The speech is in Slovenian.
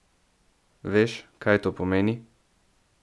Veš, kaj to pomeni?